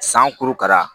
San kurukara